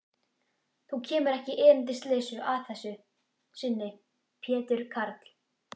Þú kemur ekki erindisleysu að þessu sinni, Pétur karl.